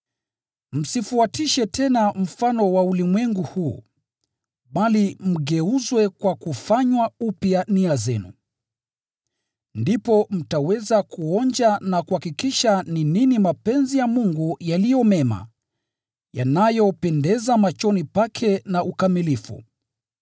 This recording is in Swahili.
Msifuatishe tena mfano wa ulimwengu huu, bali mgeuzwe kwa kufanywa upya nia zenu. Ndipo mtaweza kuonja na kuhakikisha ni nini mapenzi ya Mungu yaliyo mema, yanayopendeza machoni pake na ukamilifu.